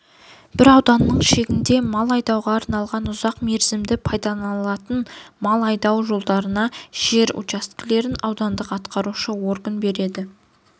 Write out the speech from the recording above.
бір ауданның шегінде мал айдауға арналған ұзақ мерзімді пайдаланылатын мал айдау жолдарына жер учаскелерін аудандық атқарушы орган береді